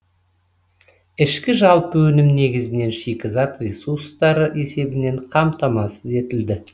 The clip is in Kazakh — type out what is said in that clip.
ішкі жалпы өнім негізінен шикізат ресурстары есебінен қамтамасыз етілді